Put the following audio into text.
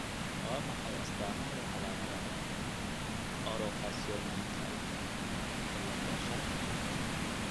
Waa maxay astamaha iyo calaamadaha Orofaciodigitalka cilada shan?